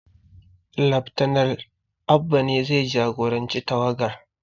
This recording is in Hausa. Laftanal Abba ne zai jagoranci tawagar